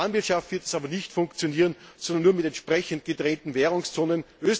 Wie Planwirtschaft wird es aber nicht funktionieren, sondern nur mit entsprechend gedrehten Währungszonen.